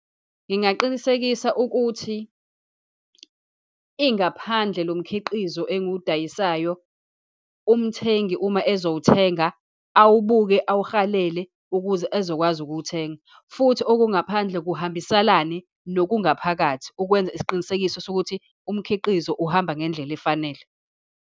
Ngingaqinisekisa ukuthi ingaphandle lomkhiqizo engiwudayisayo, umthengi uma ozowuthenga, awubuke, awuhalele ukuze ezokwazi ukuwuthenga. Futhi okungaphandle kuhambisalane nokungaphakathi, ukwenza isiqinisekiso sokuthi umkhiqizo uhamba ngendlela efanele.